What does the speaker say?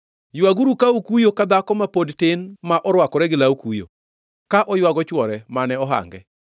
Ywaguru ka ukuyo ka dhako ma pod tin ma orwakore gi law kuyo, ka oywago chwore mane ohange.